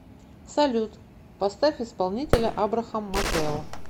салют поставь исполнителя абрахам матэо